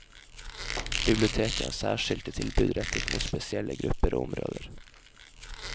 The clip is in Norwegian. Biblioteket har særskilte tilbud rettet mot spesielle grupper og områder.